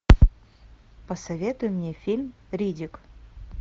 посоветуй мне фильм риддик